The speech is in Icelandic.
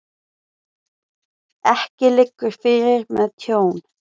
Ekki liggur fyrir með tjón